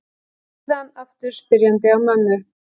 Síðan aftur spyrjandi á mömmu.